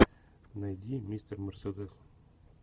найди мистер мерседес